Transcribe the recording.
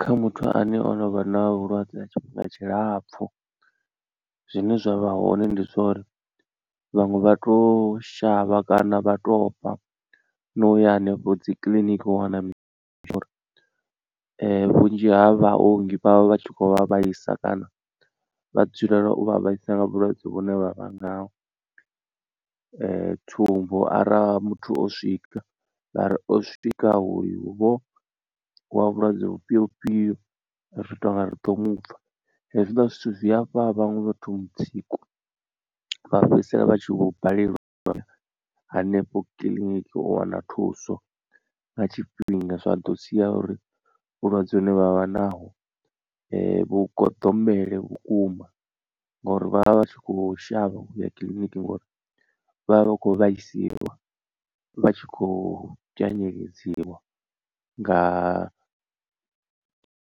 Kha muthu ane o no vha na vhulwadze ha tshifhinga tshilapfu zwine zwa vha hone ndi zwa uri vhaṅwe vha to shavha kana vha tou ofha na uya henefho dzikiḽiniki u wana mishonga vhunzhi ha vhaongi vhavha vhatshi kho vha vhaisa kana vha dzulela u vha vhaisa nga vhulwadze vhune vhavha ngaho. Tsumbo ara muthu o swika vhari o swika oyu vho wa vhulwadze vhufhio vhufhio ri tonga ri ḓo mupfha. Hezwiḽa zwithu zwi afha vhaṅwe vhathu mutsiko vha fhedzisela vha tshi vho balelwa hanefho kiḽiniki u wana thuso nga tshifhinga, zwa ḓo sia uri vhulwadze hune vha vha naho vhu goḓombele vhukuma ngori vhavha vhatshi kho shavha u ya kiḽiniki ngori vha vha vha khou vhaisiwa vha tshi khou pyanyedziwa nga